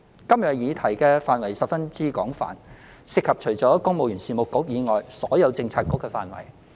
今日的議題範圍十分廣泛，涉及除公務員事務局以外所有政策局的工作範疇。